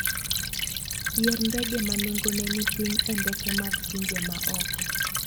Yier ndege ma nengone ni piny e ndeke mag pinje ma oko.